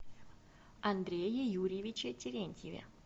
андрее юрьевиче терентьеве